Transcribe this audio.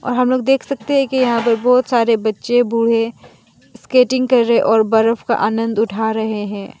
हम लोग देख सकते हैं कि यहां पे बहोत सारे बच्चे बूढ़े स्केटिंग कर रहे और बरफ़ का आनंद उठा रहे हैं।